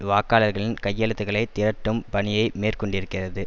வாக்காளர்களின் கையெழுத்துக்களை திரட்டும் பணியை மேற்கொண்டிருக்கிறது